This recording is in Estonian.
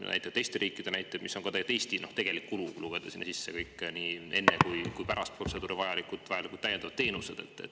Seda nii teiste riikide näitel kui ka Eestis, kui lugeda sinna sisse kõik täiendavad teenused, mida on vaja teha nii enne protseduuri kui ka pärast seda.